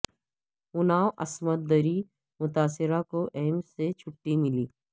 اناو عصمت دری متاثرہ کو ایمس سے چھٹی ملی